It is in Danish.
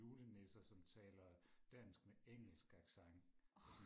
julenisser som taler dansk med engelsk accent